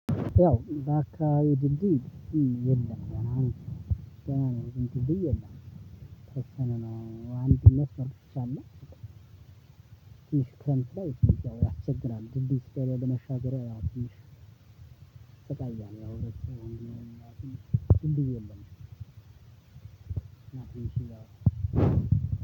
ያው በአካባቢው ድልድይ የለም። ገና ነው ድልድይ የለም የተወሰነ ነው አንድነት። ትንሽ ክረምት ላይ ትንሽ ያው ያስቸግራል ድልድይ ስለሌለ ለመሻገሪያ ያው ትንሽ ትሰቃያለህ። ያው ህብረተሰቡም ድልድይ የለም።